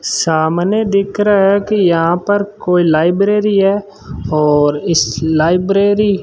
सामने दिख रहा है कि यहां पर कोई लाइब्रेरी है और इस लाइब्रेरी --